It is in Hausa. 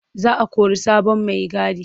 Za o kori sabon maigadi.